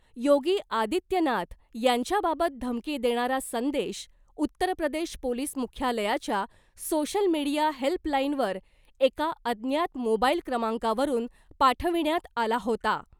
योगी आदित्यनाथ यांच्याबाबत धमकी देणारा संदेश उत्तर प्रदेश पोलीस मुख्यालयाच्या सोशल मीडिया हेल्पलाइनवर एका अज्ञात मोबाइल क्रमांकावरून पाठविण्यात आला होता .